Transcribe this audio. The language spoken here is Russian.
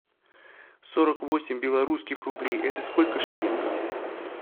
сорок восемь белорусских рублей это сколько шиллингов